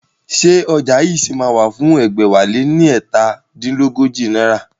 Ṣé ọjà yìí ṣì máa wà fún ẹgbẹ̀wáléní ẹ̀ta dín lọ́gọ́jọ náírà?